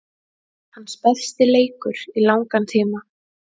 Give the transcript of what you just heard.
Hans besti leikur í langan tíma.